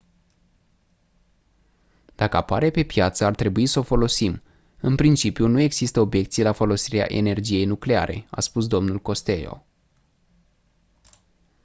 dacă apare pe piață ar trebui s-o folosim în principiu nu există obiecții la folosirea energiei nucleare a spus dl costello